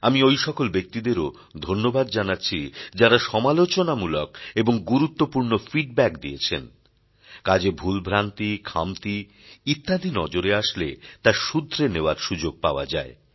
আমি ঐ সকল ব্যক্তিদেরও ধন্যবাদ জানাচ্ছি যাঁরা সমালোচনামূলক এবং গুরুত্বপূর্ণ ফিডব্যাক দিয়েছেন কাজে ভুল ভ্রান্তি খামতি ইত্যাদি নজরে আসলে তা সুধরে নেওয়ার সুযোগ পাওয়া যায়